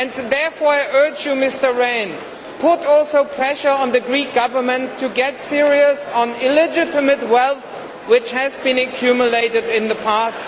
Therefore, I urge you, Mr Rehn, also to put pressure on the Greek Government to get serious on illegitimate wealth which has been accumulated in the past.